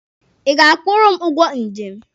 Ị ga-akwụrụ m ụgwọ njem?